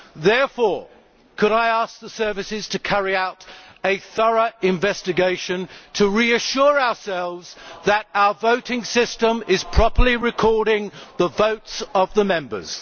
Therefore, could I ask the services to carry out a thorough investigation to reassure ourselves that our voting system is properly recording the votes of the Members?